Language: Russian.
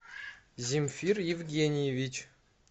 земфир евгеньевич